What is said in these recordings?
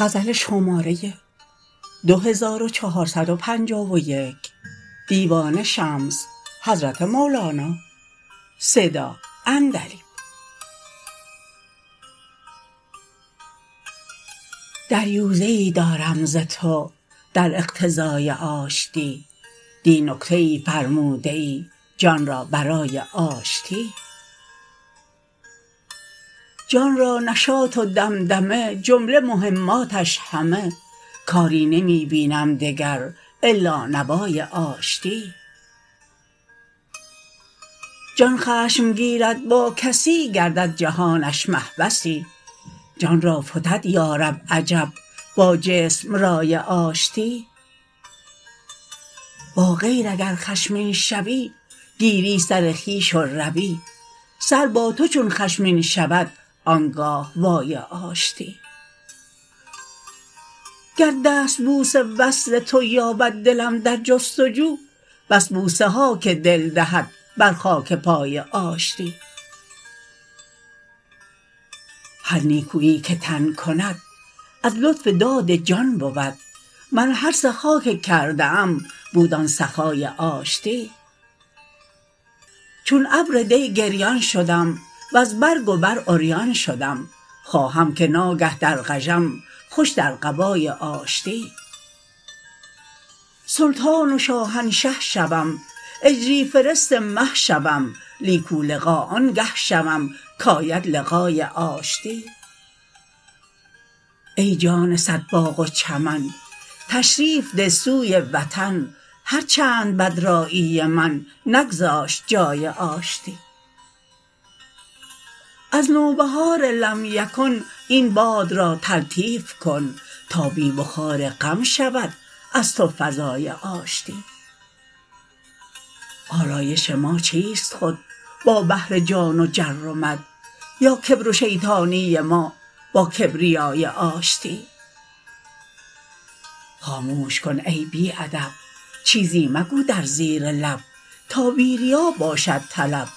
دریوزه ای دارم ز تو در اقتضای آشتی دی نکته ای فرموده ای جان را برای آشتی جان را نشاط و دمدمه جمله مهماتش همه کاری نمی بینم دگر الا نوای آشتی جان خشم گیرد با کسی گردد جهانش محبسی جان را فتد یا رب عجب با جسم رای آشتی با غیر اگر خشمین شوی گیری سر خویش و روی سر با تو چون خشمین شود آن گاه وای آشتی گر دستبوس وصل تو یابد دلم در جست و جو بس بوسه ها که دل دهد بر خاک پای آشتی هر نیکوی که تن کند از لطف داد جان بود من هر سخا که کرده ام بود آن سخای آشتی چون ابر دی گریان شدم وز برگ و بر عریان شدم خواهم که ناگه درغژم خوش در قبای آشتی سلطان و شاهنشه شوم اجری فرست مه شوم نیکولقا آنگه شود کید لقای آشتی ای جان صد باغ و چمن تشریف ده سوی وطن هر چند بدرایی من نگذاشت جای آشتی از نوبهار لم یکن این باد را تلطیف کن تا بی بخار غم شود از تو فضای آشتی آلایش ما چیست خود با بحر جان و جر و مد یا کبر و شیطانی ما با کبریای آشتی خاموش کن ای بی ادب چیزی مگو در زیر لب تا بی ریا باشد طلب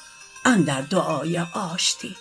اندر دعای آشتی